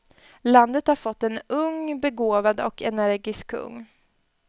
Landet hade fått en ung, begåvad och energisk kung.